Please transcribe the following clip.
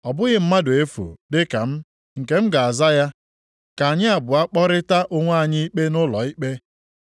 “Ọ bụghị mmadụ efu dịka m nke m ga-aza ya, ka anyị abụọ kpọrịtaa onwe anyị ikpe nʼụlọikpe.